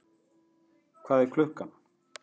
Hvað er klukkan?